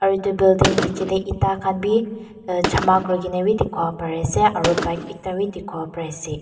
etu building niji dae etta khan bi ehh jama kurikina bi dikipo pari asae aro bike ekta bi dikipo pari asae.